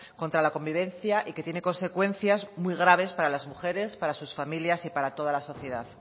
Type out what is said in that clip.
contra la convivencia y que tiene consecuencias muy graves para las mujeres para sus familias y para toda la sociedad